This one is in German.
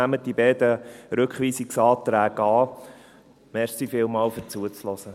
Nehmen Sie die beiden Rückweisungsanträge an.